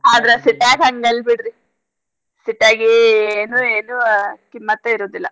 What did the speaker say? ಆದ್ರ city ಯಾಗ್ ಹಂಗ್ ಅಲ್ ಬಿಡ್ರಿ city ಯಾಗ್ ಏನೂ ಏನು ಕಿಮ್ಮತ್ತೇ ಇರುದಿಲ್ಲ.